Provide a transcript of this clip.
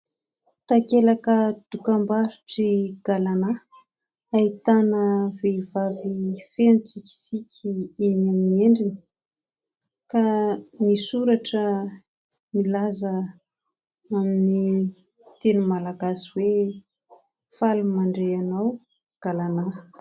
Takelaka dokam-barotry"Galana", ahitana vehivavy feno tsikitsiky ny eny amin'ny endriny ka misy soratra milaza amin'ny teny Malagasy hoe"faly mandray anao Galana !".